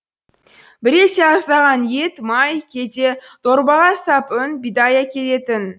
біресе аздаған ет май кейде дорбаға сап үн бидай әкелетін